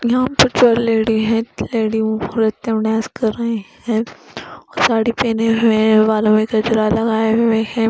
यहां पर जो लेडी है लेडी नृत्य डांस कर रहे हैं और साड़ी पहने हुए हैं बालों में गजरा लगाए हुए हैं।